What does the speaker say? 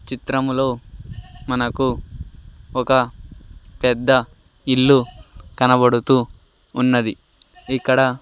చిత్రములో మనకు ఒక పెద్ద ఇల్లు కనపడుతూ ఉన్నది ఇక్కడ --